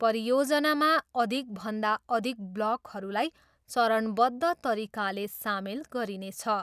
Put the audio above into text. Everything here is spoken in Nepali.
परियोजनामा अधिकभन्दा अधिक ब्लकहरूलाई चरणबद्ध तरिकाले सामेल गरिनेछ।